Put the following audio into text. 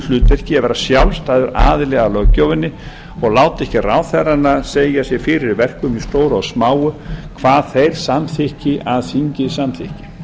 hlutverki að vera sjálfstæður aðili að löggjöfinni og láti ekki ráðherrana segja sér fyrir verkum í stóru og smáu að þeir samþykki að þingið samþykki